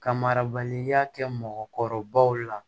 Ka marabaliya kɛ mɔgɔkɔrɔbaw la